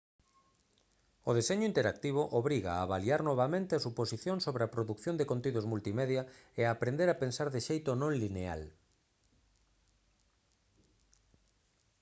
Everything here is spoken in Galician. o deseño interactivo obriga a avaliar novamente as suposicións sobre a produción de contidos multimedia e a aprender a pensar de xeito non lineal